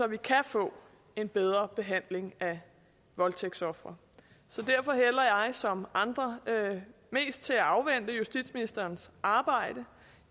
vi kan få en bedre behandling af voldtægtsofre så derfor hælder jeg som andre mest til at afvente justitsministerens arbejde